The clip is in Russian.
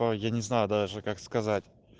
ой я не знаю даже как сказать